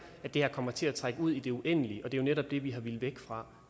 at det her kommer til at trække ud i det uendelige og det er jo netop det vi har villet væk fra